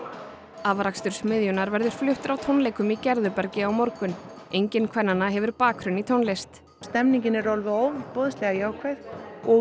afrakstur smiðjunnar verður fluttur á tónleikum í Gerðubergi á morgun engin kvennanna hefur bakgrunn í tónlist stemningin er ofboðslega jákvæð og